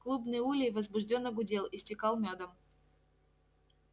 клубный улей возбуждённо гудел истекал мёдом